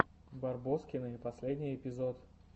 барбоскины последний эпизод